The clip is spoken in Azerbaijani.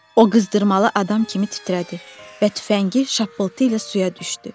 O qızdırmalı adam kimi titrədi və tüfəngi şappıltı ilə suya düşdü.